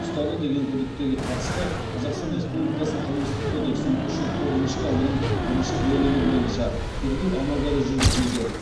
ұстады деген күдіктіге қатысты қазақстан республикасының қылмыстық кодексінің үш жүз тоғызыншы бабының бірінші бөлігі бойынша тергеу амалдары жүргізілуде